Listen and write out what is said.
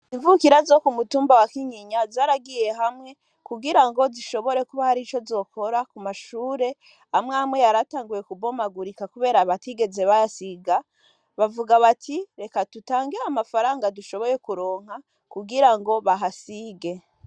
Imvukira zo ku mutumba wa kinyinya zaragiye hamwe kugira ngo zishobore kuba hari ico zokora ku mashure amwamwe yaratanguye kubomagurika, kubera abatigeze basiga bavuga bati reka tutange amafaranga dushoboye kuronka kugira ngo bah asige.